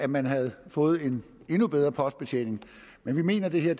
man havde fået en endnu bedre postbetjening men vi mener det her